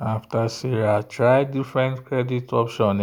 after sarah try different credit option